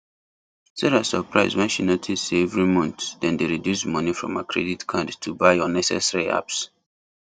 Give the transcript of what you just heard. sarah suprise when she notice say every month dem dey reduce money from her credit card to buy unnecessary apps